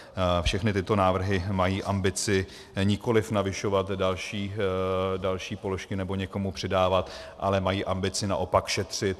Všechny tyto návrhy mají ambici nikoli navyšovat další položky nebo někomu přidávat, ale mají ambici naopak šetřit.